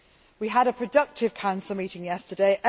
We had a productive Council meeting yesterday.